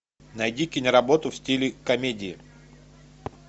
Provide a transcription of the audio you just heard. найди киноработу в стиле комедии